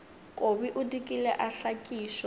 kobi o dikile a hlakišwa